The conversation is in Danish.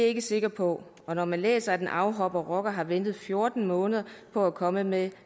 ikke sikker på for når man læser at en afhoppet rocker har ventet i fjorten måneder på at komme med